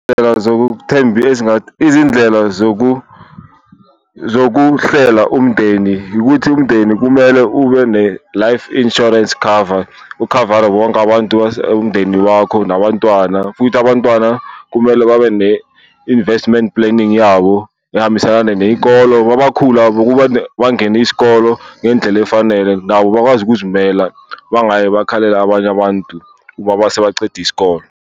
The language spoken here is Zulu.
Izindlela zokuhlela umndeni ukuthi umndeni kumele ube ne-life insurance cover ukhavare wonke abantu umndeni wakho nabantwana, futhi abantwana kumele babe ne-investment planning yabo ehambisana neyikolo. Mabakhula bangene isikolo ngendlela efanele nabo bakwazi ukuzimela, bangaye bakhalele abanye abantu uma base bacede isikole.